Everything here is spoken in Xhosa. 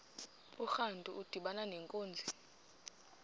urantu udibana nenkunzi